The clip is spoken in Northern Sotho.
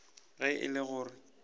ge e le go re